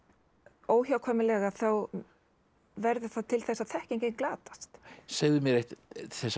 óhjákvæmilega þá verður það til þess að þekkingin glatast segðu mér eitt þessar